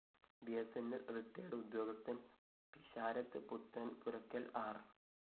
B സ്‌ ന്‌ ൽ റിട്ടയേർഡ്‌ ഉദ്യോഗസ്ഥന്‍ പിഷാരത്ത് പുത്തന്‍പുരയ്ക്കല്‍ ആര്‍